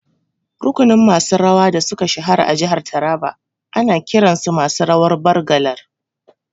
Rukunin masu rawa da suka shahara a jihar Taraba ana kiran su masu rawan Bargalar